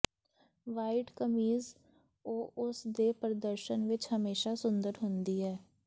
white ਕਮੀਜ਼ ਉਹ ਉਸ ਦੇ ਪ੍ਰਦਰਸ਼ਨ ਵਿਚ ਹਮੇਸ਼ਾਂ ਸੁੰਦਰ ਹੁੰਦੀ ਹੈ